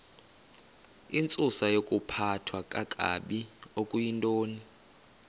intsusayokuphathwa kakabi okuyintoni